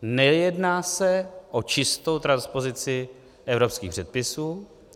Nejedná se o čistou transpozici evropských předpisů.